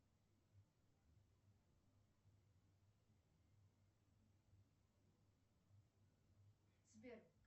сбер